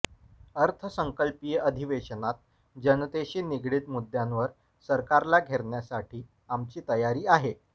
अर्थसंकल्पीय अधिवेशनात जनतेशी निगडित मुद्द्यांवर सरकारला घेरण्यासाठी आमची तयारी आहे